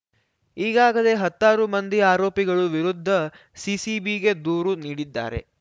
ಈಗಾಗಲೇ ಹತ್ತಾರು ಮಂದಿ ಆರೋಪಿಗಳು ವಿರುದ್ಧ ಸಿಸಿಬಿಗೆ ದೂರು ನೀಡಿದ್ದಾರೆ